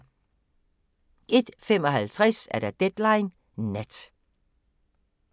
01:55: Deadline Nat